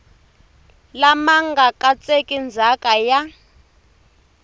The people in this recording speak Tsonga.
lama nga katseki ndzhaka ya